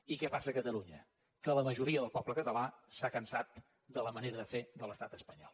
i què passa a catalunya que la majoria del poble català s’ha cansat de la manera de fer de l’estat espanyol